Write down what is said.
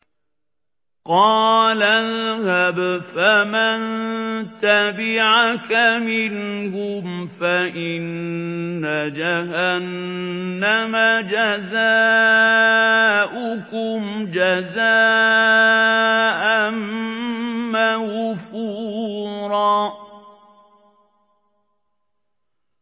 قَالَ اذْهَبْ فَمَن تَبِعَكَ مِنْهُمْ فَإِنَّ جَهَنَّمَ جَزَاؤُكُمْ جَزَاءً مَّوْفُورًا